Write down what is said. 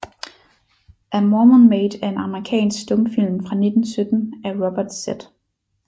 A Mormon Maid er en amerikansk stumfilm fra 1917 af Robert Z